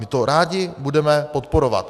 My to rádi budeme podporovat.